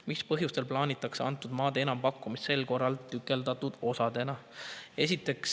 Mis põhjustel plaanitakse antud maade enampakkumist sel korral tükeldatud osadena?